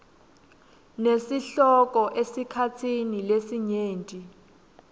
nesihloko esikhatsini lesinyenti